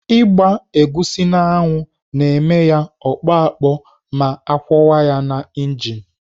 Ịgba egusi n'anwụ na-eme ya ya akpọ akpọ ma akwọwa ya na injin.